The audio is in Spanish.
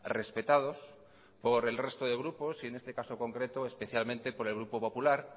respetados por el resto de grupos y en este caso concreto especialmente por el grupo popular